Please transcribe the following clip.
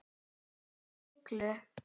Þeir voru miklir.